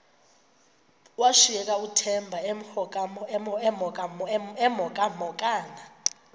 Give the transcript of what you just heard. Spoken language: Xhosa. washiyeka uthemba emhokamhokana